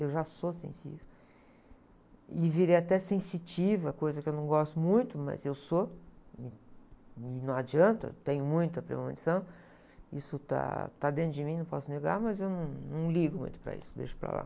eu já sou sensível e virei até sensitiva coisa que eu não gosto muito, mas eu sou, me, e não adianta tenho muita premonição isso está, está dentro de mim, não posso negar mas eu não, não ligo muito para isso deixo para lá.